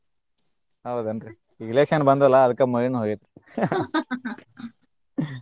ಹೌದೇನ್ರಿ ಈಗ election ಬಂದು ಅಲ್ಲಾ ಅದಕ್ಕ ಮಳಿನು ಹೋಗೆತಿ .